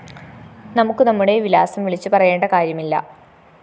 നമുക്ക് നമ്മുടെ വിലാസം വിളിച്ചുപറയേണ്ട കാര്യമില്ല